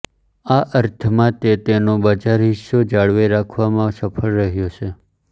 આ અર્થમાં તે તેનો બજાર હિસ્સો જાળવી રાખવામાં સફળ રહ્યો છે